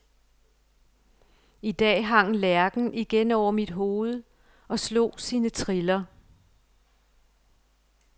I dag hang lærken igen over mit hoved og slog sine triller.